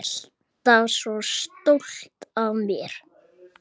Alltaf svo stolt af mér.